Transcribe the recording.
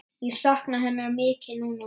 Ég sakna hennar mikið núna.